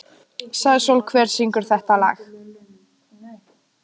Uppáhaldsdrykkur: ískalt vatn með klaka